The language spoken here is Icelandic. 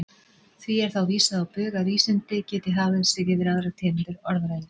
Því er þá vísað á bug að vísindi geti hafið sig yfir aðrar tegundir orðræðu.